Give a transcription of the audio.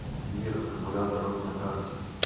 мир аккумуляторов на карте